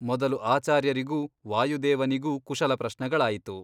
ಮೊದಲು ಆಚಾರ್ಯರಿಗೂ ವಾಯುದೇವನಿಗೂ ಕುಶಲ ಪ್ರಶ್ನಗಳಾಯಿತು.